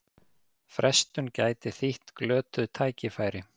Frestun gæti þýtt glötuð tækifæri